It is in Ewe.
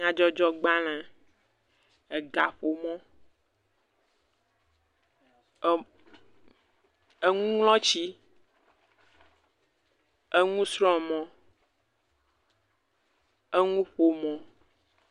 Nyadzɔdzɔgbalẽ, egaƒomɔ, om, enuŋlɔtsi, enusrɔ̃mɔ̃, enuƒomɔ.